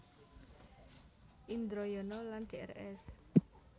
Indroyono lan Drs